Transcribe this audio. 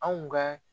Anw ka